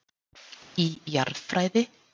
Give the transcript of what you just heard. Í Jarðfræði.